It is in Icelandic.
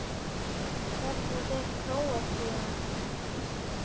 Hvernig fer Króatía- Ísland?